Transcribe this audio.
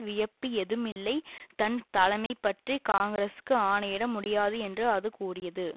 வியப்பு ஏதும் இல்லை தன் தலைமை பற்றி காங்கிரசுக்கு ஆணையிட முடியாது என்று அது கூறியது